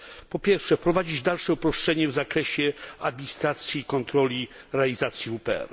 Po pierwsze, wprowadzić dalsze uproszczenia w zakresie administracji i kontroli realizacji WPR.